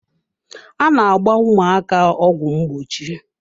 A na-agba ụmụaka ọgwụ ngbochi.